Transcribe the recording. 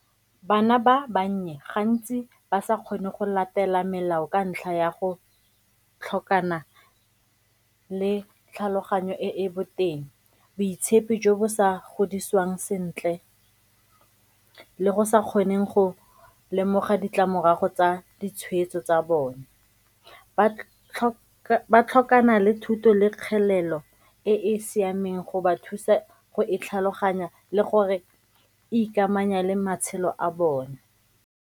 Bana ba bannye gantsi ba sa kgone go latela melao ka ntlha ya go tlhokana le tlhaloganyo e boteng, boitshepi jo bo sa godisiwang sentle le go sa kgoneng go lemoga ditlamorago tsa ditshweetso tsa bone. Ba tlhokana le thuto le kgelelo e e siameng go ba thusa go e tlhaloganya le gore ikamanya le matshelo a bone.